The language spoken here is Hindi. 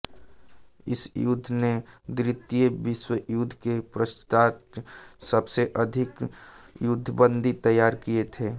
इस युद्ध ने द्वितीय विश्वयुद्ध के पश्चात् सबसे अधिक युद्धबंदी तैयार किये थे